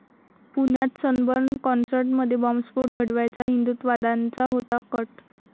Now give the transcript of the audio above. पुण्यात सनबर्न कॉन्सर्टमध्ये बॉम्बस्फोट घडवायचा हिंदुत्ववाद्यांचा होता कट